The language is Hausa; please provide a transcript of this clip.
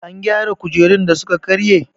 An gyara kujerun da suka karye?